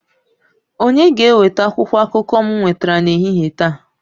Onye ga-eweta akwụkwọ akụkọ m nwetara n'ehihie taa?